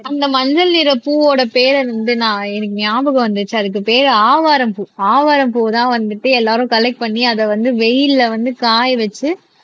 அந்த மஞ்சள் நிற பூவோட பேரை வந்து நான் எனக்கு ஞாபகம் வந்துச்சு அதுக்கு பேரு ஆவாரம் பூ ஆவாரம் பூவதான் வந்துட்டு எல்லாரும் கலெக்ட் பண்ணி அதை வந்து வெயில்ல வந்து காய வச்சு